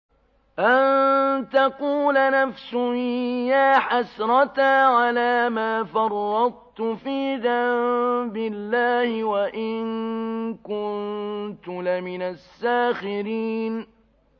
أَن تَقُولَ نَفْسٌ يَا حَسْرَتَا عَلَىٰ مَا فَرَّطتُ فِي جَنبِ اللَّهِ وَإِن كُنتُ لَمِنَ السَّاخِرِينَ